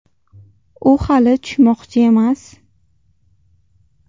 U hali tushmoqchi emas.